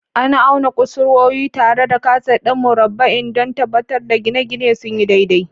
An auna kusurwoyi tare da kaset ɗin murabba'i don tabbatar da gine-gine sun yi daidai.